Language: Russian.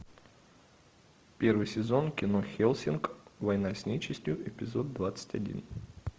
первый сезон кино хеллсинг война с нечистью эпизод двадцать один